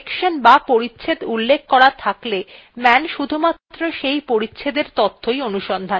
কোনো সেকশন বা পরিচ্ছেদ উল্লেখ করা থাকলে man শুধুমাত্র সেই পরিচ্ছেদএর তথ্য অনুসন্ধান করে